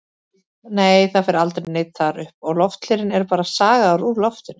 Nei, það fer aldrei neinn þar upp og lofthlerinn er bara sagaður úr loftinu.